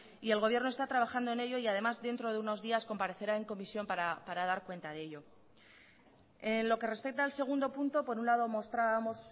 y el gobierno está trabajando en ello y además dentro de unos días comparecerá en comisión para dar cuenta de ello en lo que respecta al segundo punto por un lado mostrábamos